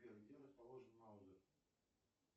сбер где расположен маузер